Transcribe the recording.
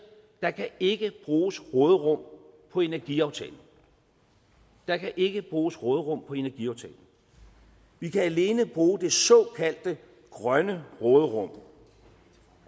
der kan ikke bruges råderum på energiaftalen der kan ikke bruges råderum på energiaftalen vi kan alene bruge det såkaldte grønne råderum